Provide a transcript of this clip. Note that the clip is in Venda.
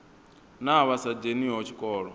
na vha sa dzheniho tshikolo